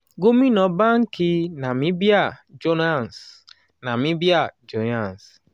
gómìnà báńkì nàmíbíà johannes nàmíbíà johannes